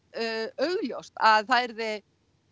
augljóst að það yrði